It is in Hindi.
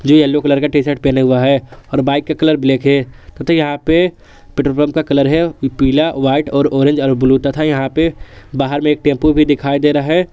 येलो कलर का टीशर्ट पहना हुआ है और बाइक का कलर ब्लैक है तथा यहां पे पेट्रोल पंप का कलर है पीला व्हाइट और ऑरेंज और ब्लू तथा यहां पे बाहर में एक टेंपो भी दिखाई दे रहा है।